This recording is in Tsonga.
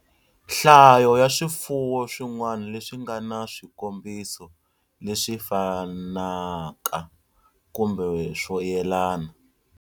Nhlayo ya swifuwo swin'wana leswi nga na swikombiso leswi fanaka kumbe swo yelana.